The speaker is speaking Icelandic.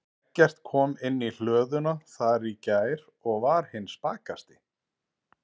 Eggert kom inn í hlöðuna þar í gær og var hinn spakasti.